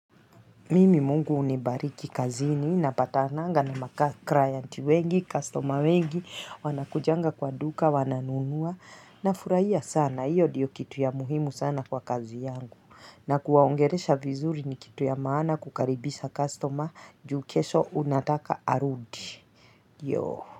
Mimi Mungu nibariki kazini napatanaga na maclienti wengi, customer wengi, wanakujaga kwa duka, wananunua nafurahia sana. Hiyo ndiyo kitu ya muhimu sana kwa kazi yangu. Na kuwaongelesha vizuri ni kitu ya maana kukaribisha customer juu kesho unataka arudi. Yoo.